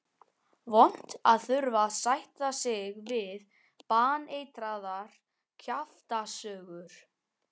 Vont að þurfa að sætta sig við baneitraðar kjaftasögur.